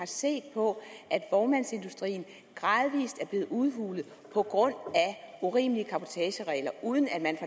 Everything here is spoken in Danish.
set på at vognmandsindustrien gradvis er blevet udhulet på grund af urimelige cabotageregler uden at man